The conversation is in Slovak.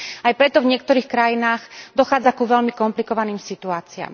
Aj preto v niektorých krajinách dochádza ku veľmi komplikovaným situáciám.